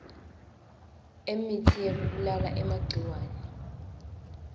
emitsi yekubulala emagciwane